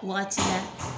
Wagati la